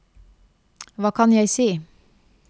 hva kan jeg si